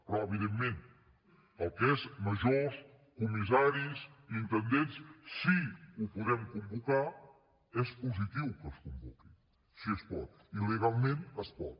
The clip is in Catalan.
però evidentment el que són majors comissaris intendents si ho podem convocar és positiu que es convoqui si es pot i legalment es pot